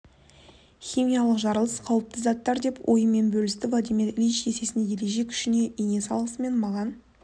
химиялық жарылыс қауіпті заттар деп ойымен бөлісті владимир ильич есесіне ереже күшіне ене салысымен маған